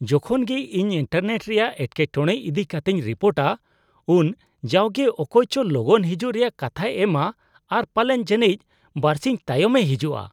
ᱡᱚᱠᱷᱚᱱ ᱜᱮ ᱤᱧ ᱤᱱᱴᱟᱨᱱᱮᱴ ᱨᱮᱭᱟᱜ ᱮᱴᱠᱮᱴᱚᱲᱮ ᱤᱫᱤ ᱠᱟᱛᱮᱧ ᱨᱤᱯᱳᱴᱟ ᱩᱱ ᱡᱟᱣᱜᱮ ᱚᱠᱚᱭᱪᱚ ᱞᱚᱜᱚᱱ ᱦᱤᱡᱩᱜ ᱨᱮᱭᱟᱜ ᱠᱟᱛᱦᱟᱭ ᱮᱢᱟ ᱟᱨ ᱯᱟᱞᱮᱱ ᱡᱟᱹᱱᱤᱡ ᱵᱟᱹᱨᱥᱤᱧ ᱛᱟᱭᱚᱢᱮ ᱦᱤᱡᱩᱜᱼᱟ ᱾